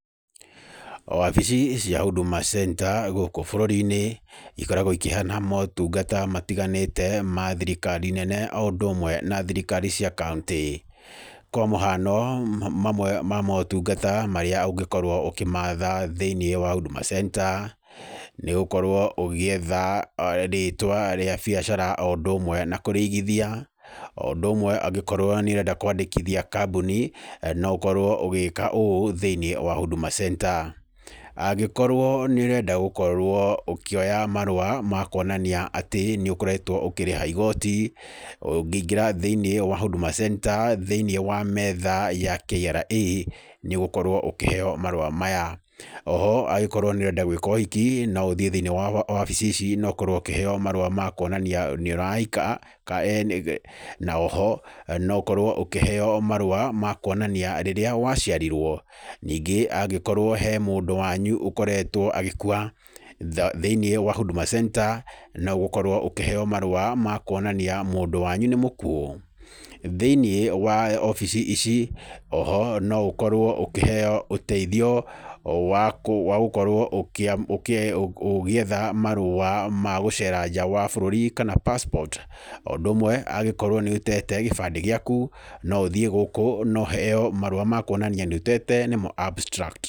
Wabici cia Huduma Center gũkũ bũrũri-inĩ, ikoragwo ikĩheana motungata matiganĩte, ma thirikari nene o ũndũ ũmwe na thirikari cia kauntĩ. Kwa mũhano mamwe ma motungata marĩa ũngĩkorwo ũkĩmatha thĩiniĩ wa Huduma Center, nĩ gũkorwo ũgĩetha rĩtwa rwa biacara o ũndũ ũmwe na kũrĩigithia, o ũndũ ũmwe angĩkorwo nĩ ũrenda kwandĩkithia kambuni no ũkorwo ũgĩka ũũ thĩiniĩ wa Huduma Center. Angĩkorwo nĩ ũrenda gũkorwo ũkĩoya marũa ma kuonania atĩ nĩ ũkoretwo ũkĩrĩha igooti, ũngĩingĩra thĩiniĩ wa Huduma Center, thĩiniĩ wa metha ya KRA, nĩ ũgũkorwo ũkĩheo marũa maya. Oho angĩkorwo nĩ ũrenda gwĩka ũhiki, no ũthiĩ thĩiniĩ wa wabici ici na ũkorwo ũkĩheo marũa ma kuonania nĩ ũrahika, na oho, no ũkorwo ũkĩheo marũa ma kuonania rĩrĩa waciarirwo. Nĩngĩ angĩkorwo he mũndũ wanyu ũkoretwo agĩkua, thĩiniĩ wa Huduma Center, no ũgũkorwo ũkĩheo marũa makuonania mũndũ wanyu nĩ mũkuũ. Thĩiniĩ wa wabici ici, oho no ũkorwo ũkĩheo ũteithio wa gũkorwo ũgĩetha marũa ma gũcera nja wa bũrũri kana passport. O ũndũ ũmwe angĩkorwo nĩ ũtete gĩbande gĩaku no ũthiĩ gũkũ na ũheo marũa makuonania nĩ ũtete nĩmo abstratct.